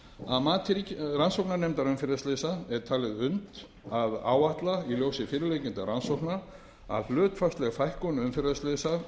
að mati rannsóknarnefndar umferðarslysa er talið unnt að áætla í ljósi fyrirliggjandi rannsókna að hlutfallsleg fækkun umferðarslysa